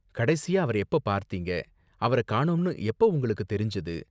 கடைசியா அவர எப்போ பார்த்தீங்க? அவர காணோம்னு எப்ப உங்களுக்கு தெரிஞ்சது?